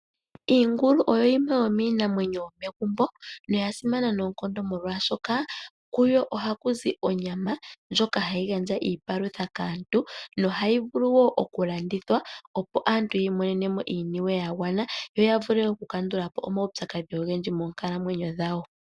Iingulu oyo yimwe yomiinamwenyo yomegumbo, noya simana noonkondo, molwashoka kuyo ohaku zi onyama ndjoka hayi gandja iipalutha kaantu, nohayi vulu wo okulandithwa, opo aantu yi imonene mo iiniwe ya gwandja, yo ya vule okukandula po omaupyakadhi ogendji moonkalamwenyo dhawo.